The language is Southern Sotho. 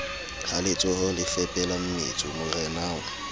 ha letsohole fepela mmetso morenao